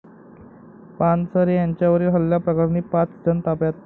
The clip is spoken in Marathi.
पानसरे यांच्यावरील हल्ल्याप्रकरणी पाच जण ताब्यात